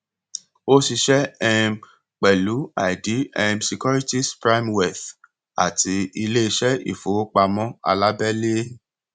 ó ṣiṣẹ um pẹlú ideal um securities primewealth àti iléiṣẹ ifowopamọ alabẹle